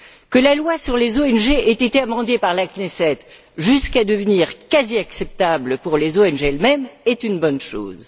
Que la loi sur les ONG ait été amendée par la Knesset jusqu'à devenir quasi acceptable pour les ONG elles mêmes est une bonne chose.